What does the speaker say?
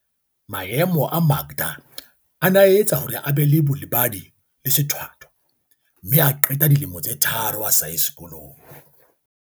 Maemo a Makda a ne a etsa hore a be le bolebadi le sethwa thwa mme a qeta dilemo tse tharo a sa ye sekolong.